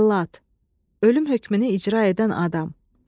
Cəllad, ölüm hökmünü icra edən adam.